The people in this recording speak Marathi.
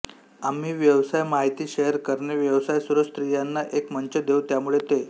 आम्ही व्यवसाय माहिती शेअर करणे व्यवसाय सुरू स्त्रियांना एक मंच देऊ त्यामुळे ते